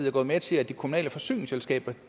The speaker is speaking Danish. er gået med til at de kommunale forsyningsselskaber